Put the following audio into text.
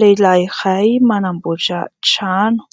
Lehilahy iray manamboatra trano